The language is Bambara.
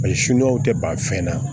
Paseke sunjaw tɛ ban fɛn na